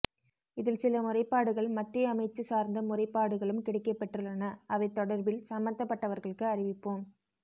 இதில் சில முறைப்பாடுகள் மத்திய அமைச்சு சார்ந்த முறைப்பாடுகளும் கிடைக்க பெற்றுள்ளன அவை தொடர்பில் சம்பந்தப்பட்டவர்களுக்கு அறிவிப்போம்